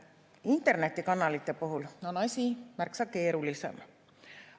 Internetikanalite puhul on asi märksa keerulisem.